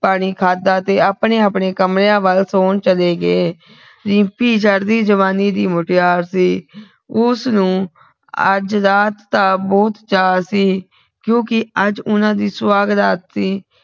ਪਾਣੀ ਖਾਦਾ ਤੇ ਆਪਣੇ ਆਪਣੇ ਕਮਰਿਆਂ ਵਲ ਸੌਣ ਚਲੇ ਗਏ ਰਿੰਪੀ ਚੜ੍ਹਦੀ ਜਵਾਨੀ ਦੀ ਮੁਟਿਆਰ ਸੀ ਉਸਨੂੰ ਅੱਜ ਰਾਤ ਦਾ ਬਹੁਤ ਚਾ ਸੀ ਕਿਉਕਿ ਅੱਜ ਉਹਨਾਂ ਦੀ ਸੁਹਾਗਰਾਤ ਸੀ